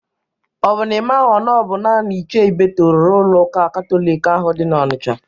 Ọ bụ na ị maghọ na ọ bụ naanị Ichie Ibeto rụrụ ụlọ ụka Katọlik ahụ dị na Ọnisha?